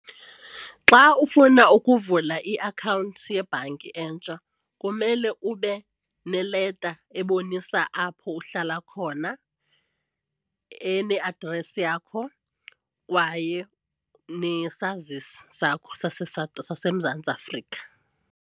Xa ufuna ukuvula iakhawunti yebhanki entsha kumele ube neleta ebonisa apho uhlala khona ene-address yakho kwaye nesazisi sakho saseMzantsi Afrika.